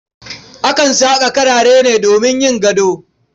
Akan saƙa karare ne domin yin gado.